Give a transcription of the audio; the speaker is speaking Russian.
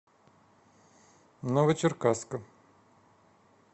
новочеркасска